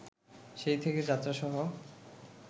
সেই থেকে যাত্রাসহ